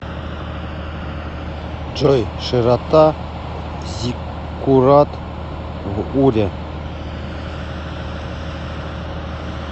джой широта зиккурат в уре